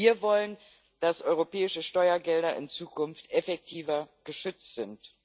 Wir wollen, dass europäische Steuergelder in Zukunft effektiver geschützt sind.